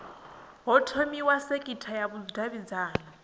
ho thomiwa sekitha ya vhudavhidzano